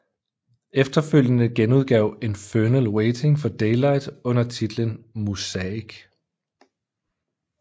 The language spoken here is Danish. Efterfølgende genudgav Infernal Waiting for Daylight under titlen Muzaik